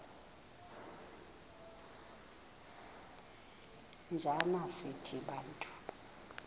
njana sithi bantu